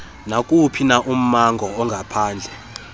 nakuwuphina ummango ongaphandle